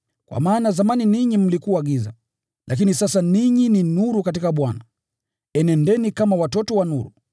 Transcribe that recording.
Kwa maana zamani ninyi mlikuwa giza, lakini sasa ninyi ni nuru katika Bwana. Enendeni kama watoto wa nuru